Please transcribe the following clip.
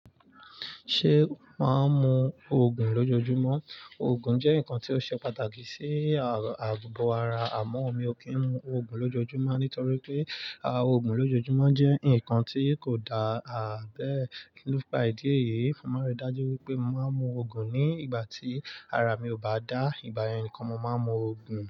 Ṣé màá mu Ògùn lójojúmọ́? Ògùn jẹ́ nǹkan tí ó ṣe pàtàkì sí ààbò ara àmọ́ mi ò kí ń mu Ògùn lójojúmọ́ nítorí pé àwọn Ògùn lójojúmọ́ jẹ́ ǹkan tí kò dá àbẹ́. Nípa ìdí èyí, màá rí i dájú wípé màá mu Ògùn ní ìgbà tí ara mi ò bá dá, ìbá yẹn nìkan màá mu Ògùn.